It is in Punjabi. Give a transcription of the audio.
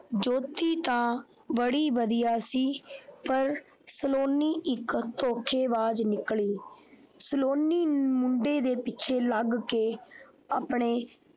ਜੋਤੀ ਤਾਂ ਬੜੀ ਵਧੀਆ ਸੀ ਪਰ ਸਲੋਨੀ ਇੱਕ ਧੋਖੇਬਾਜ ਨਿਕਲੀ ਸਲੋਨੀ ਇੱਕ ਮੁੰਡੇ ਦੇ ਪਿੱਛੇ ਲੱਗ ਕੇ ਆਪਣੇ।